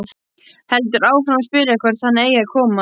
Heldur áfram að spyrja hvert hann eigi að koma.